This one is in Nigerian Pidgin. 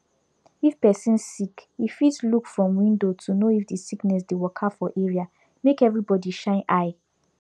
if person sick e fit look from window to know if the sickness dey waka for area make everybody shine eye